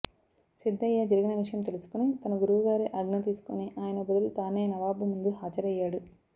సిద్ధయ్య జరిగిన విషయం తెలుసుకుని తన గురువు గారి ఆజ్ఞ తీసుకుని ఆయన బదులు తానే నవాబు ముందు హాజరయ్యాడు